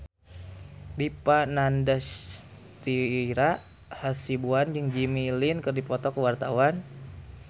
Dipa Nandastyra Hasibuan jeung Jimmy Lin keur dipoto ku wartawan